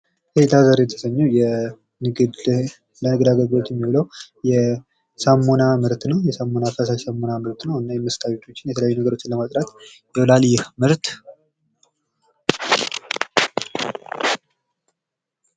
ላርጎ በመባል የሚታወቀው የፈሳሽ ሳሙና ምርት ነው። ልብሳችንን ለማጠብ እና ለማጥራት ያገለግለናል።